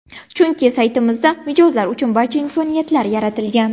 Chunki saytimizda mijozlar uchun barcha imkoniyatlar yaratilgan.